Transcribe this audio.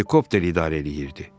Helikopter idarə eləyirdi.